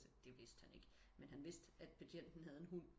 Det vidste han ikke men han vidste betjenten havde en hund